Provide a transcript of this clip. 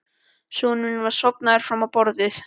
Sonurinn var sofnaður fram á borðið.